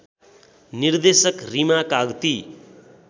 निर्देशक रिमा काग्ती